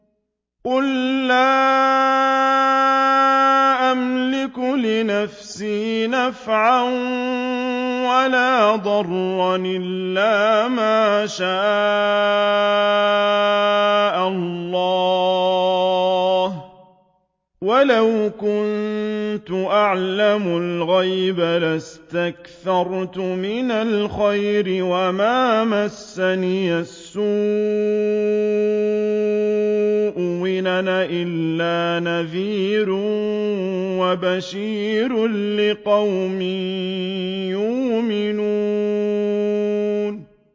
قُل لَّا أَمْلِكُ لِنَفْسِي نَفْعًا وَلَا ضَرًّا إِلَّا مَا شَاءَ اللَّهُ ۚ وَلَوْ كُنتُ أَعْلَمُ الْغَيْبَ لَاسْتَكْثَرْتُ مِنَ الْخَيْرِ وَمَا مَسَّنِيَ السُّوءُ ۚ إِنْ أَنَا إِلَّا نَذِيرٌ وَبَشِيرٌ لِّقَوْمٍ يُؤْمِنُونَ